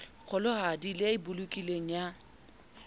kgolohadi le e bolokilweng ya